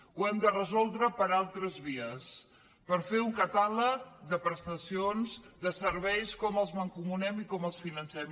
ho hem de resoldre per altres vies fent un catàleg de prestacions de serveis com els mancomunem i com els financem